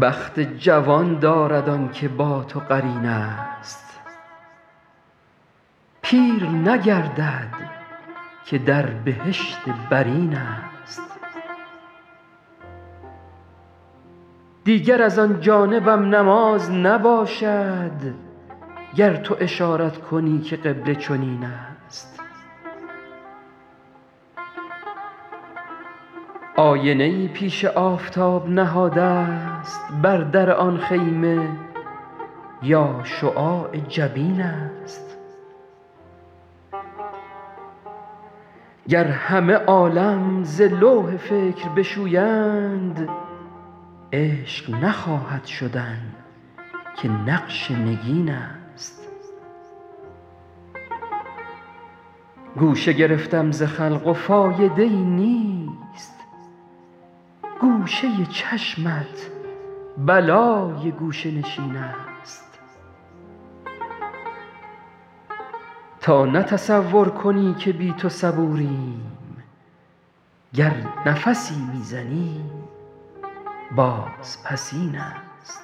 بخت جوان دارد آن که با تو قرین است پیر نگردد که در بهشت برین است دیگر از آن جانبم نماز نباشد گر تو اشارت کنی که قبله چنین است آینه ای پیش آفتاب نهادست بر در آن خیمه یا شعاع جبین است گر همه عالم ز لوح فکر بشویند عشق نخواهد شدن که نقش نگین است گوشه گرفتم ز خلق و فایده ای نیست گوشه چشمت بلای گوشه نشین است تا نه تصور کنی که بی تو صبوریم گر نفسی می زنیم بازپسین است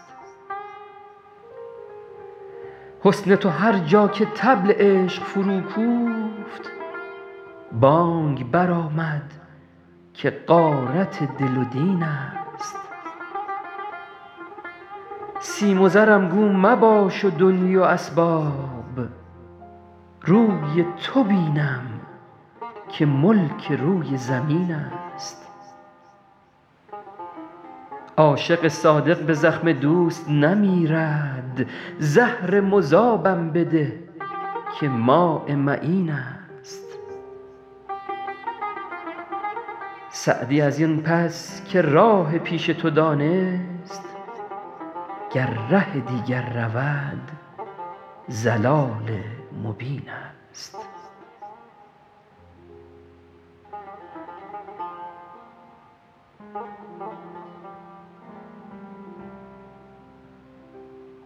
حسن تو هر جا که طبل عشق فروکوفت بانگ برآمد که غارت دل و دین است سیم و زرم گو مباش و دنیی و اسباب روی تو بینم که ملک روی زمین است عاشق صادق به زخم دوست نمیرد زهر مذابم بده که ماء معین است سعدی از این پس که راه پیش تو دانست گر ره دیگر رود ضلال مبین است